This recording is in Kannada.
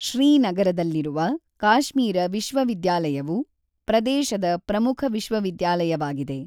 ಶ್ರೀನಗರದಲ್ಲಿರುವ ಕಾಶ್ಮೀರ ವಿಶ್ವವಿದ್ಯಾಲಯವು ಾ ಪ್ರದೇಶದ ಪ್ರಮುಖ ವಿಶ್ವವಿದ್ಯಾಲಯವಾಗಿದೆ.